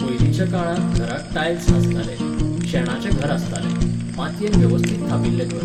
पयलींच्या काळांत घराक टायल्स नासताले, शेणाचें घर आसतालें, मातयेन वेवस्थीत थापिल्लें घर.